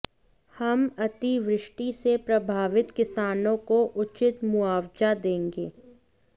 हम अतिवृष्टि से प्रभावित किसानों को उचित मुआवजा देंगे